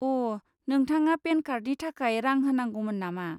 अ', नोंथाङा पेन कार्डनि थाखाय रां होनांगौमोन नामा?